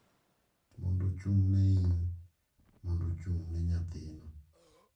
mondo ochung’ne in, mondo ochung’ne nyathino.